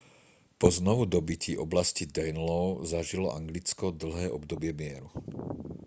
po znovudobytí oblasti danelaw zažilo anglicko dlhé obdobie mieru